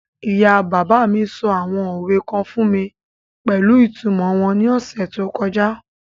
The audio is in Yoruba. Ìyá-bàbá sọ àwọn òwe kan fún mi pẹ̀lú ìtumọ̀ wọn ní ọ̀sẹ̀ tó kọjá.